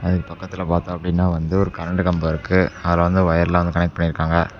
இங்க பக்கத்துல பார்த்தா அப்படின்னா வந்து ஒரு கரண்ட் கம்போ இருக்கு அதுல வந்து ஒயர் எல்லாம் கனெக்ட் பண்ணி இருக்காங்க.